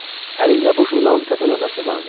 Əlində bu jurnalın təzə nömrəsi vardı.